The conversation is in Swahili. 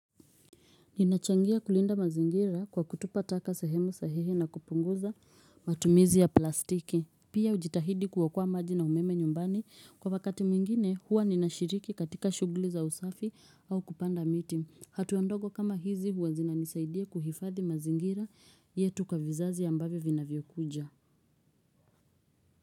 Ninachangia kulinda mazingira kwa kutupa taka sehemu sahihi na kupunguza matumizi ya plastiki. Pia ujitahidi kuokoa maji na umeme nyumbani kwa wakati mwingine huwa ninashiriki katika shughuli za usafi au kupanda miti. Hatuandogo kama hizi huwazina nisaidia kuhifadhi mazingira yetu kwa vizazi ambavyo vina vyokuja.